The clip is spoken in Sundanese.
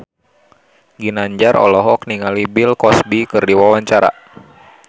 Ginanjar olohok ningali Bill Cosby keur diwawancara